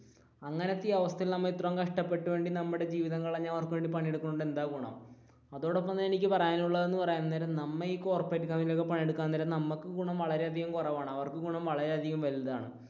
അങ്ങനത്തെ ഈ അവസ്ഥയിൽ നമ്മൾ ഇത്രയും കഷ്ടപ്പെട്ട് നമ്മുടെ ജീവിതം കളഞ്ഞു അവർക്ക് വേണ്ടി പണിയെടുക്കുന്നത് കൊണ്ട് എന്താണ് ഗുണം അതോടപ്പം തന്നെ എനിക്ക് പറയാനുള്ളത് എന്ന് പറയാൻ നേരം, നമ്മൾ ഈ കോർപ്പറേറ്റ് കമ്പനികളിൽ ഒക്കെ പണിയെടുക്കാൻ നേരം നമുക്ക് ഗുണം വളരെയധികം കുറവാണ് അവർക്ക് ഗുണം വളരെയധികം വലുതാണ്.